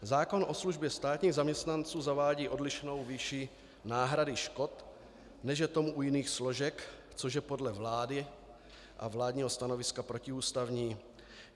Zákon o službě státních zaměstnanců zavádí odlišnou výši náhrady škod, než je tomu u jiných složek, což je podle vlády a vládního stanoviska protiústavní.